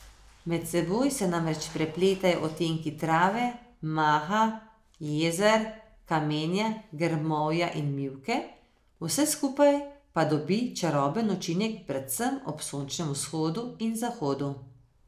Med seboj se namreč prepletajo odtenki trave, maha, jezer, kamenja, grmovja in mivke, vse skupaj pa dobi čaroben učinek predvsem ob sončnem vzhodu in zahodu.